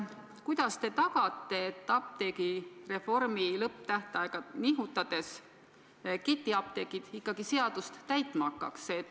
Kuidas te tagate, et apteegireformi lõpptähtaega nihutades ketiapteegid ikkagi seadust täitma hakkavad?